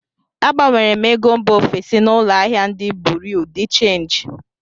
Agbanwere m ego mba ofesi na ụlọ ahịa ndị buriu di chenji